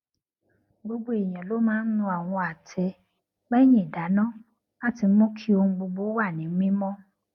gbogbo èèyàn ló máa ń nu àwọn àtẹ lẹyìn ìdáná láti mú kí ohun gbogbo wà ní mímọ